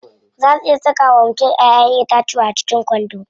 Zaa su iya saka wa mutum Ƴaƴan itatuwa a cikin kwando.